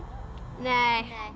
nei